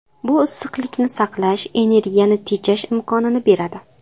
Bu issiqlikni saqlash, energiyani tejash imkonini beradi.